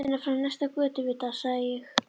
Í birtunni frá næsta götuvita sagði ég